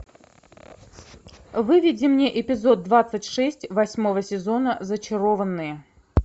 выведи мне эпизод двадцать шесть восьмого сезона зачарованные